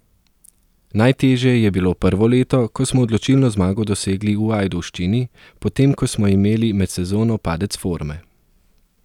Najtežje je bilo prvo leto, ko smo odločilno zmago dosegli v Ajdovščini, potem ko smo imeli med sezono padec forme.